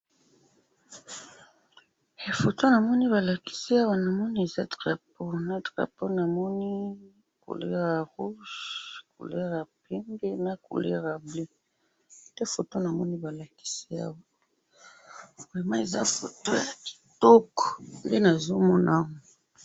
photo namoni balakisi awa ,namoni eza drapeau na drapeau namoni couleur ya rouge, couleur ya pembe na couleur ya bleu, nde photo namoni balakisi awa, vraiment eza photo ya kitoko nde nazo mona awa.